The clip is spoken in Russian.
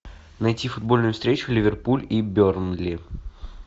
найти футбольную встречу ливерпуль и бернли